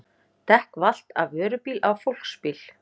Dekk valt af vörubíl á fólksbíl